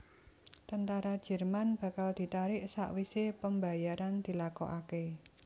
Tentara Jerman bakal ditarik sakwisé pembayaran dilakokaké